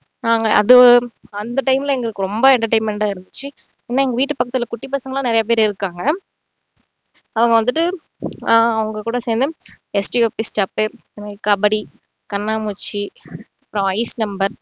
நாங்க அது அந்த time ல எங்களுக்கு ரொம்ப entertainment ஆ இருந்திச்சு இன்னும் எங்க வீட்டு பக்கத்துல குட்டி பசங்க எல்லாம் நிறைய பேர் இருக்காங்க அவங்க வந்துட்டு ஆஹ் அவங்க கூட சேரந்து கபடி, கண்ணாம் பூச்சி